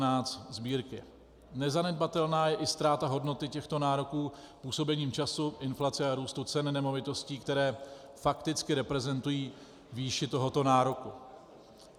Nezanedbatelná je i ztráta hodnoty těchto nároků působením času, inflace a růstu cen nemovitostí, které fakticky reprezentují výši tohoto nároku.